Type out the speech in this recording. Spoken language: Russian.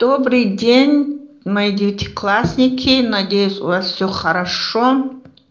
добрый день мои девятиклассники надеюсь у вас всё хорошо